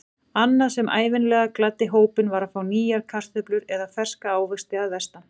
Annað sem ævinlega gladdi hópinn var að fá nýjar kartöflur eða ferska ávexti að vestan.